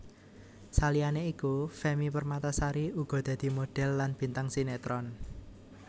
Saliyane iku Femmy Permatasari uga dadi modhél lan bintang sinetron